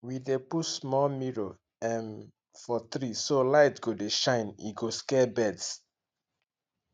we dey put small mirror um for tree so light go dey shine e go scare birds